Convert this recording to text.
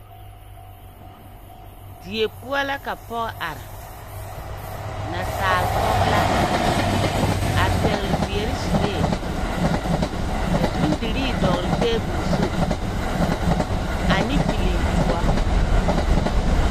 Die poͻ la ka pͻge are. nansaale pͻge la. A pԑgele zeԑre suree. Ka bondirii dͻgele teebole zu ane pilintoͻ.